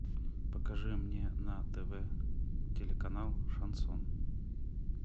покажи мне на тв телеканал шансон